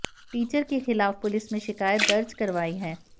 teacher के खिलाफ police में शिकायत दर्ज करवाई है